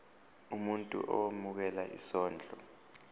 umuntu owemukela isondlo